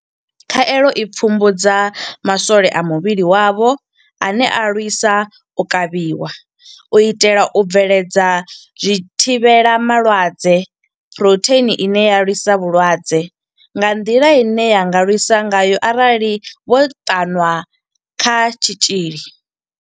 Khaelo i pfumbudza ma swole a muvhili wavho ane a lwisa u kavhiwa u itela u bveledza zwithivhelama lwadze phurotheini ine ya lwisa vhulwadze nga nḓila ine ya nga lwisa ngayo arali vho ṱanwa kha tshitzhili.